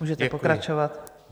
Můžete pokračovat.